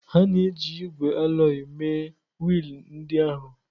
A na-eji ígwè alọyị mee wiil ndị ahụ.